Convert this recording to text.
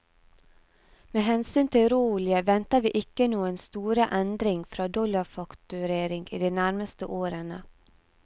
Med hensyn til råolje venter vi ikke noen store endring fra dollarfakturering i de nærmeste årene.